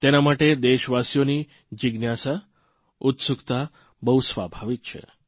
તેના માટે દેશવાસીઓની જીજ્ઞાસા ઉત્સુકતા બહુ સ્વાભાવિક છે